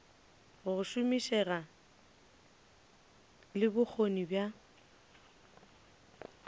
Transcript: go šomišega le bokgoni bja